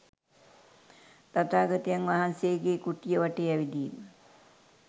තථාගතයන් වහන්සේගේ කුටිය වටේ ඇවිදීම